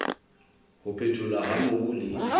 ho phetholwa ha mobu le